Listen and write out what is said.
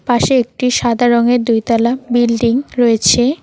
পাশে একটি সাদা রঙের দুই তালা তলা বিল্ডিং রয়েছে।